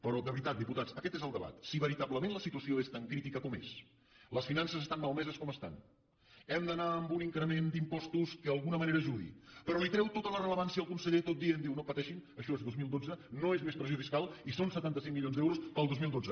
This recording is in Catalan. però de veritat diputats aquest és el debat si veritablement la situació és tan crítica com és les finances estan malmeses com estan hem d’anar a un increment d’impostos que d’alguna manera ajudi però li treu tota la rellevància el conseller tot dient no pateixi això és dos mil dotze no es més pressió fiscal i són setanta cinc milions d’euros per al dos mil dotze